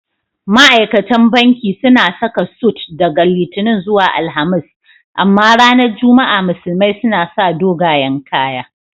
Ma'aikatan banki suna saka sut daga Litinin zuwa Alhamis. Amma ranar Juma'a musulmai suna sa dogayan kaya..